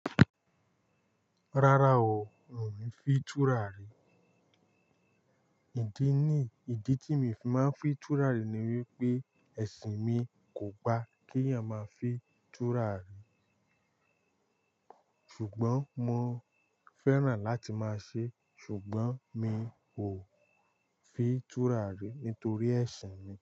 Rárá o, n ò fi túrà rí. Ìdí ní, ìdí tí mi máa ń fi túrà rí ni wípé ẹ̀sìn mi kò gba kí a máa fi túrà rí. Ṣùgbọ́n mo fẹ́ràn láti máa ṣe, ṣùgbọ́n mi ò fi túrà rí nítorí ẹ̀sìn mi.